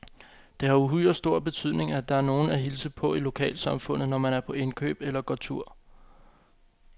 Det har uhyre stor betydning, at der er nogen at hilse på i lokalsamfundet, når man er på indkøb eller går tur.